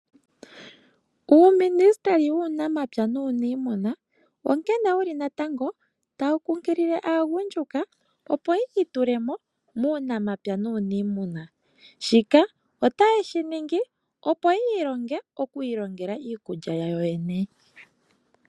Uuministeli wuunamapya nuuniimuna onkene wuli natango tawu kunkilile aagundjuka opo yiitulemo muunamapya nuuniimuna . Shika otayeshi ningi opo yavule okwiilongela iikulya yawo.